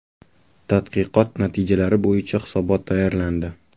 Tadqiqot natijalari bo‘yicha hisobot tayyorlandi.